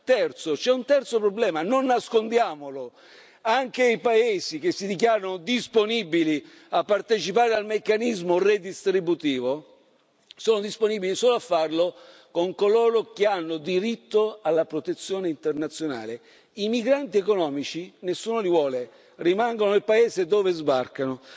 Terzo c'è un terzo problema, non nascondiamolo, anche i paesi che si dichiarano disponibili a partecipare al meccanismo redistributivo, sono disponibili solo a farlo con coloro che hanno diritto alla protezione internazionale. I migranti economici nessuno li vuole, rimangono nel paese dove sbarcano.